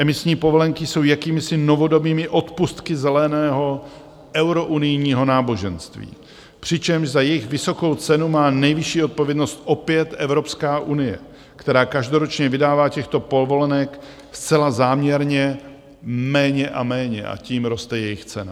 Emisní povolenky jsou jakýmisi novodobými odpustky zeleného eurounijního náboženství, přičemž za jejich vysokou cenu má nejvyšší odpovědnost opět Evropská unie, která každoročně vydává těchto povolenek zcela záměrně méně a méně, a tím roste jejich cena.